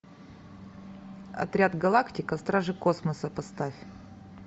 отряд галактика стражи космоса поставь